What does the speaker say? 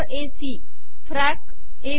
ही फॅक ए बी